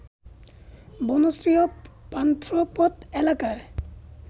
বনশ্রী ও পান্থপথ এলাকায়